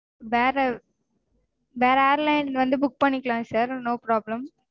வேற airline வந்து book பண்ணிக்கலாம் sir no problem